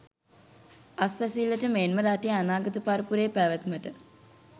අස්වැසිල්ලට මෙන්ම රටේ අනාගත පරපුරේ පැවැත්මට